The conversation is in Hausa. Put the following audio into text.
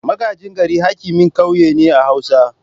Magajin gari hakimin kauye ne a hausa.